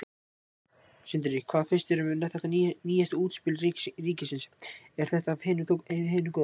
Sindri: Hvað finnst þér um þetta nýjasta útspil ríkisins, er þetta af hinu góða?